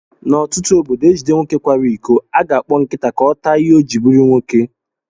N'otutu ọbọdọ ejide nwoke kwara ịkọ, aga akpọ nkịta ka ọ taa ìhè ọ jiri bụrụ nwoke.